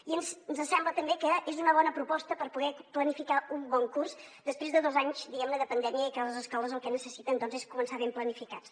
i ens sembla també que és una bona proposta per poder planificar un bon curs després de dos anys diguem ne de pandèmia i que les escoles el que necessiten és començar ben planificats